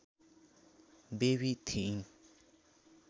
baby थिइन्